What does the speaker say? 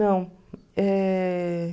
Não. Eh...